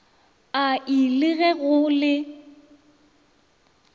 ai le ge go le